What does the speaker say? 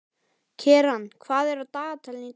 Keran, hvað er á dagatalinu í dag?